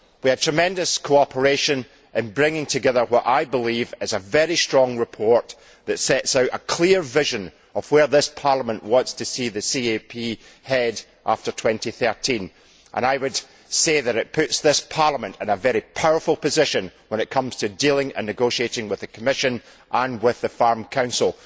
We had tremendous cooperation in bringing together what I believe is a very strong report that sets out a clear vision of where this Parliament wants to see the CAP head after 2013. I would say that it puts this Parliament in a very powerful position when it comes to dealing and negotiating with the Commission and with the Farm Council.